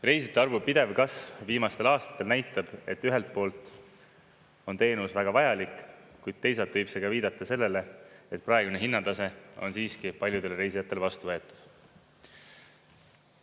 Reisijate arvu pidev kasv viimastel aastatel näitab, et ühelt poolt on teenus väga vajalik, kuid teisalt võib see ka viidata sellele, et praegune hinnatase on siiski paljudele reisijatele vastuvõetav.